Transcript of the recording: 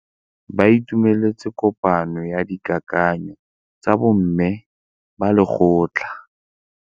Ba itumeletse kôpanyo ya dikakanyô tsa bo mme ba lekgotla.